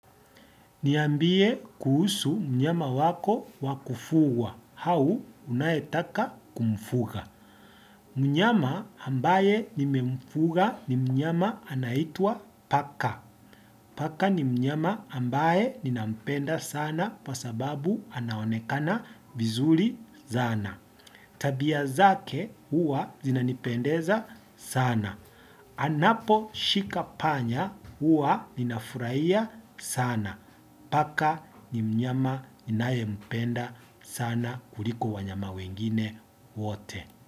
Niambie kuhusu mnyama wako wakufugwa, au unayetaka kumfuga. Mnyama ambaye nimemfuga ni mnyama anayeitwa paka. Paka ni mnyama ambaye ninampenda sana kwa sababu anaonekana vizuri sana. Tabia zake huwa zinanipendeza sana. Anapo shika panya huwa ninafurahia sana. Paka ni mnyama ninayempenda sana kuliko wanyama wengine wote.